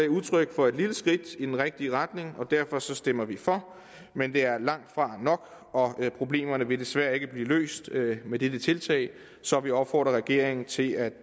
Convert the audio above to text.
udtryk for et lille skridt i den rigtige retning og derfor stemmer vi for men det er langtfra nok og problemerne vil desværre ikke blev løst med dette tiltag så vi opfordrer regeringen til at